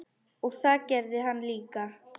Og það gerði hann líka.